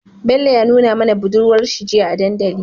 Bello ya nuna mana budurwar shi jiya a dandali